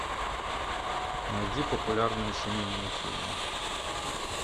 найди популярные семейные фильмы